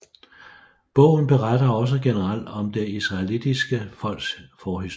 Bogen beretter også generelt om det israelittiske folks forhistorie